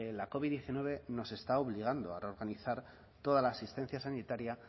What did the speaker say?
la covid diecinueve nos está obligando a reorganizar toda la asistencia sanitaria